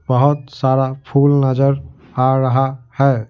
बहुत सारा फूल नजर आ रहा है।